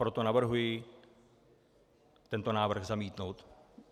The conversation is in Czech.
Proto navrhuji tento návrh zamítnout.